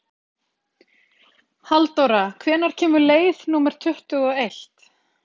Halldóra, hvenær kemur leið númer tuttugu og eitt?